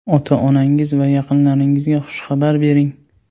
Ota-onangiz va yaqinlaringizga xushxabar bering.